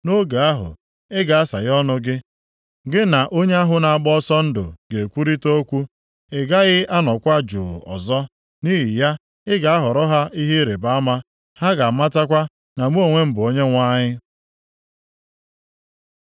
Nʼoge ahụ, ị ga-asaghe ọnụ gị. Gị na onye ahụ na-agba ọsọ ndụ ga-ekwurịta okwu. Ị gaghị anọkwa juu ọzọ. Nʼihi ya, ị ga-aghọrọ ha ihe ịrịbama. Ha ga-amatakwa na mụ onwe m bụ Onyenwe anyị.”